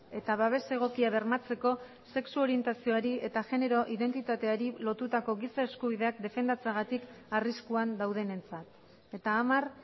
eta babes egokia bermatzeko sexu orientazioari eta genero identitateari lotutako giza eskubideak defendatzeagatik arriskuan daudenentzat eta hamar